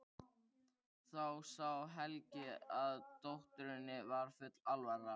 Þá sá Helgi að dótturinni var full alvara.